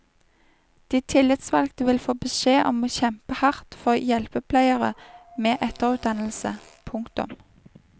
De tillitsvalgte vil få beskjed om å kjempe hardt for hjelpepleiere med etterutdannelse. punktum